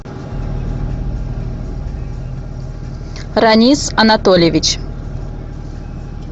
ранис анатольевич